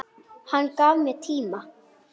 Hann gaf mér tíma.